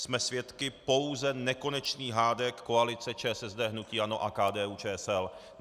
Jsme svědky pouze nekonečných hádek koalice ČSSD, hnutí ANO a KDU-ČSL.